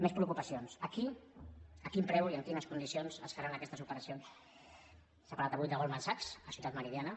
més preocupacions a quin preu i en quines condicions es faran aquestes operacions s’ha parlat avui de goldman sachs a ciutat meridiana